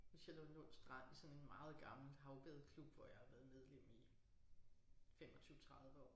Ved Charlottenlund Strand i sådan en meget gammel havbadeklub hvor jeg har været medlem i 25 30 år